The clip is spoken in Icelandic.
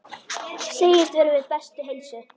Segist vera við bestu heilsu.